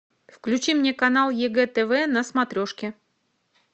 включи мне канал егэ тв на смотрешке